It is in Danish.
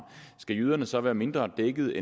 skal jyderne så være mindre dækket